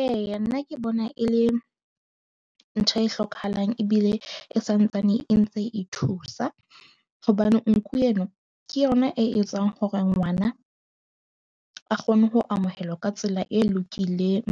Eya, nna ke bona e le ntho e hlokahalang ebile e santsane e ntse e thusa. Hobane nku eno ke yona e etsang hore ngwana a kgone ho amohelwa ka tsela e lokileng.